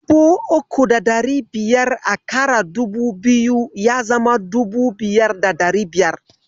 Dubu uku da ɗari biyar a ƙara dubu biyu, ya zama dubu biyar da ɗari biyar.